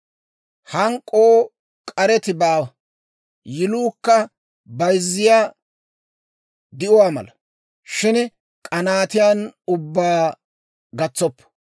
Hank'k'oo k'areti baawa; yiluukka bayzziyaa di'uwaa mala; shin k'anaatiyaan ubbaa gatsoppo.